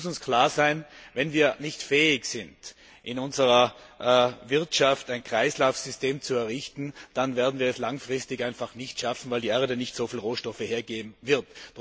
Es muss uns klar sein Wenn wir nicht fähig sind, in unserer Wirtschaft ein Kreislaufsystem zu errichten, dann werden wir es langfristig einfach nicht schaffen, weil die Erde nicht so viele Rohstoffe hergeben wird.